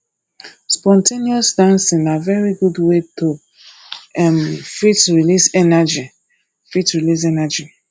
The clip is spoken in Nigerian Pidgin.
spon ten ous dancing na very good wey to um fit release energy fit release energy